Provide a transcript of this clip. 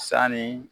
Sanni